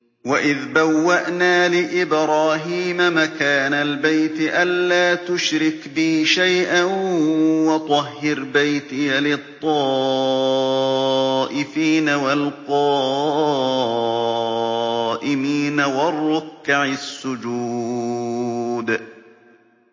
وَإِذْ بَوَّأْنَا لِإِبْرَاهِيمَ مَكَانَ الْبَيْتِ أَن لَّا تُشْرِكْ بِي شَيْئًا وَطَهِّرْ بَيْتِيَ لِلطَّائِفِينَ وَالْقَائِمِينَ وَالرُّكَّعِ السُّجُودِ